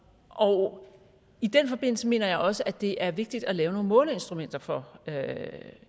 og i den forbindelse mener jeg også at det er vigtigt at lave nogle måleinstrumenter for